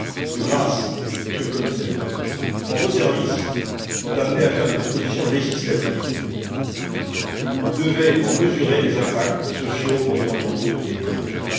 De grâce, Monsieur le Commissaire, quand vos services sont amenés à faire des propositions législatives, vous devez en mesurer les impacts sociaux, environnementaux et économiques.